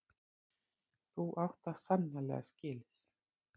Þú átt það sannarlega skilið.